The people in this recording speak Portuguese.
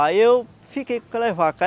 Aí eu fiquei com aquelas vacas.